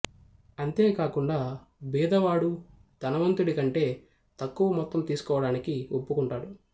అంతేకాకుండా బీదవాడు ధనవంతుడి కంటే తక్కువ మొత్తం తీసుకోవడానికి ఒప్పుకుంటాడు